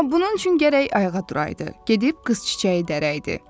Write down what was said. Amma bunun üçün gərək ayağa duraydı, gedib qız çiçəyi dəraydı.